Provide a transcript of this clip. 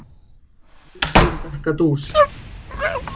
Við skulum drekka dús.